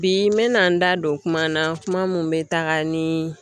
Bi n mɛna n da don kuma na kuma min bɛ taga ni